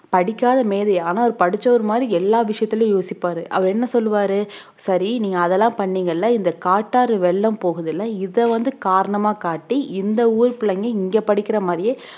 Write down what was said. படிக்காத மேதை ஆனா அவரு படிச்சவரு மாதிரி எல்லா விஷயத்துலயும் யோசிப்பாரு அவர் என்ன சொல்லுவாரு சரி நீ அதெல்லாம் பண்ணீங்க இல்ல இந்த காட்டாறு வெள்ளம் போகுதில்ல இத வந்து காரணமா காட்டி இந்த ஊர் பிள்ளைங்க இங்க படிக்கிற மாதிரியே